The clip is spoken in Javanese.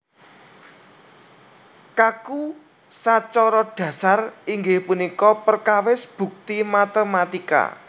Kaku sacara dhasar inggih punika perkawis bukti matématika